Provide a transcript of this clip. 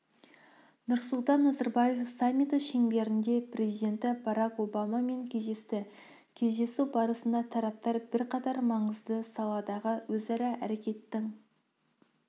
нұрсұлтан назарбаев саммиті шеңберінде президенті барак обамамен кездесті кездесу барысында тараптар бірқатар маңызды саладағы өзара әрекеттің